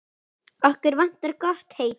Okkur vantar gott heiti.